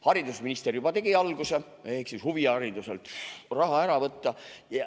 Haridusminister juba tegi algust ja lubas huvihariduselt raha ära võtta.